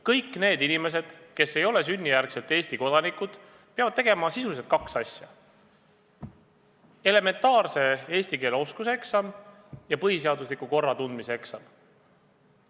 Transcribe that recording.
Kõik need inimesed, kes ei ole sünnijärgselt Eesti kodanikud, peavad tegema sisuliselt kaks asja: elementaarse eesti keele oskuse eksami ja põhiseadusliku korra tundmise eksami.